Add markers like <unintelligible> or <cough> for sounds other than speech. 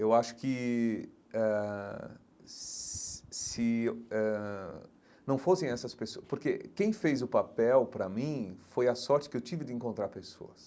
Eu acho que eh <unintelligible> se eh ãh não fossem essas pessoas... Porque quem fez o papel para mim foi a sorte que eu tive de encontrar pessoas.